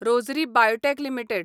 rose biotech limited